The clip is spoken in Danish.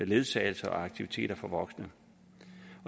ledsagelse og aktiviteter for voksne